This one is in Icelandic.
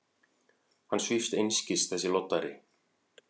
Hann svífst einskis, þessi loddari!